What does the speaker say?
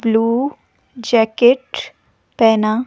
blue jacket पहना--